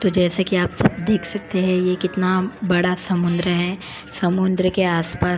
तो जैसे कि आप सब देख सकते हैं ये कितना बड़ा समुद्र है समुद्र के आसपास --